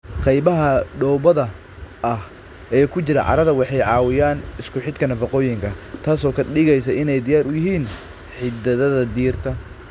Qaybaha dhoobada ah ee ku jira carrada waxay caawiyaan isku xidhka nafaqooyinka, taas oo ka dhigaysa inay diyaar u yihiin xididdada dhirta.